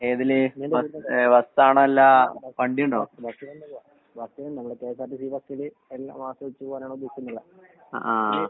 ഏതില് bus ഏഹ് ബസ്സാണോ അല്ല വണ്ടിയുണ്ടോ? അഹ് ആഹ്.